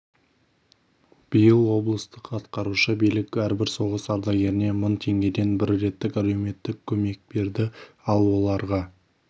биыл облыстық атқарушы билік әрбір соғыс ардагеріне мың теңгеден бір реттік әлеуметтік көмек берді ал оларға